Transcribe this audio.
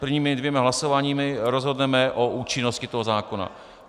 Prvními dvěma hlasováními rozhodneme o účinnosti tohoto zákona.